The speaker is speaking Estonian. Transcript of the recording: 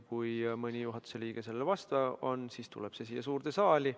Kui mõni juhatuse liige sellele vastu on, siis tuleb see siia suurde saali.